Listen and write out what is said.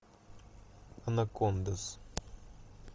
анакондас